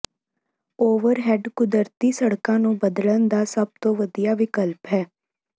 overhead ਕੁਦਰਤੀ ਸੜਕਾਂ ਨੂੰ ਬਦਲਣ ਦਾ ਸਭ ਤੋਂ ਵਧੀਆ ਵਿਕਲਪ ਹੈ